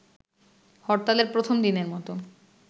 হরতালের প্রথম দিনের মতো